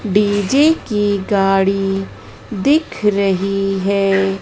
DJ की गाड़ी दिख रही है।